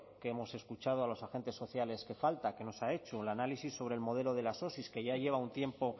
que hemos escuchado a los agentes sociales que falta que nos ha hecho un análisis sobre el modelo de las osi que ya llevan un tiempo